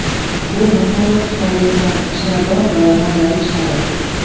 Bu masalliq tufayli ular shirador va mazali chiqadi.